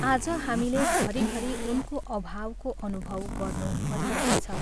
आज हामीले घरिघरि उनको अभावको अनुभव गर्नु परिरहेछ।